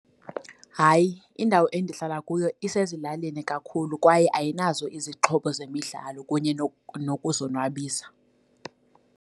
Hayi, indawo endihlala kuyo asezilalini kakhulu kwaye ayinazo izixhobo zemidlalo kunye nokuzonwabisa.